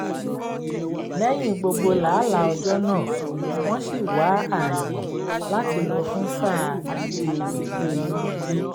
lẹ́yìn gbogbo làálàá ọjọ́ náà wọ́n sì wá ààyè láti lọ fún sáà ilé ijó inú ilé